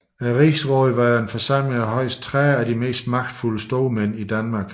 Rigsrådet var en forsamling af højst 30 af de mest magtfulde stormænd i Danmark